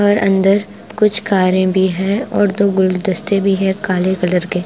और अंदर कुछ कारें भी है और दो गुलदस्ते भी है काले कलर के।